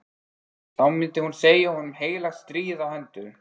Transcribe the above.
Þá myndi hún segja honum heilagt stríð á hendur!